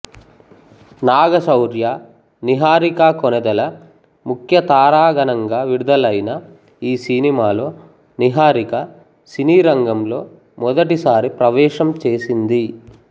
నాగసౌర్య నీహారిక కొణిదెల ముఖ్య తారాగణంగా విడుదలైన ఈ సినిమాలో నీహారిక సినీరంగంలో మొదటిసారి ప్రవేశం చేసింది